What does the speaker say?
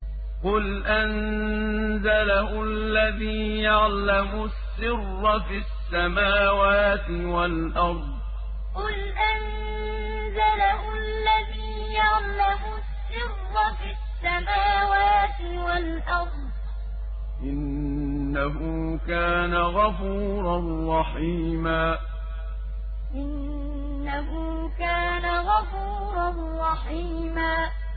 قُلْ أَنزَلَهُ الَّذِي يَعْلَمُ السِّرَّ فِي السَّمَاوَاتِ وَالْأَرْضِ ۚ إِنَّهُ كَانَ غَفُورًا رَّحِيمًا قُلْ أَنزَلَهُ الَّذِي يَعْلَمُ السِّرَّ فِي السَّمَاوَاتِ وَالْأَرْضِ ۚ إِنَّهُ كَانَ غَفُورًا رَّحِيمًا